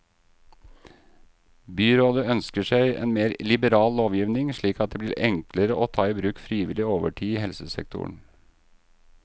Byrådet ønsker seg en mer liberal lovgivning slik at det blir enklere å ta i bruk frivillig overtid i helsesektoren.